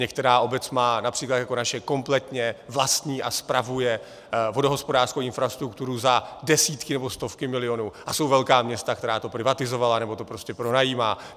Některá obec má, například jako naše, kompletně vlastní a spravuje vodohospodářskou infrastrukturu za desítky nebo stovky milionů, a jsou velká města, která to privatizovala nebo to prostě pronajímají.